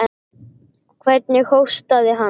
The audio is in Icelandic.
Hvernig hóstaði hann.